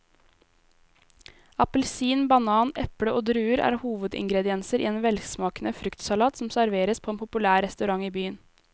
Appelsin, banan, eple og druer er hovedingredienser i en velsmakende fruktsalat som serveres på en populær restaurant i byen.